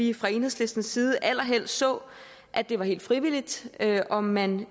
vi fra enhedslistens side allerhelst så at det var helt frivilligt om man